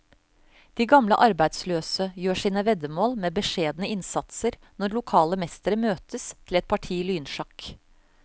De gamle arbeidsløse gjør sine veddemål med beskjedne innsatser når lokale mestere møtes til et parti lynsjakk.